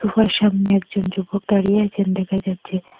উহার সামনে একজন যুবক দাঁড়িয়ে আছেন দেখা যাচ্ছে।